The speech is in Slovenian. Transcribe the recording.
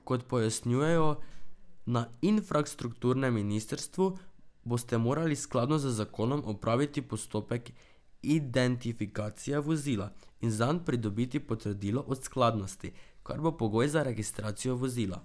Kot pojasnjujejo na infrastrukturnem ministrstvu, boste morali skladno z zakonom opraviti postopek identifikacije vozila in zanj pridobiti potrdilo o skladnosti, kar bo pogoj za registracijo vozila.